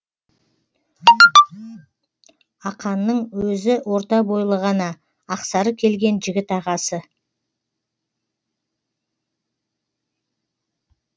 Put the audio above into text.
ақанның өзі орта бойлы ғана ақсары келген жігіт ағасы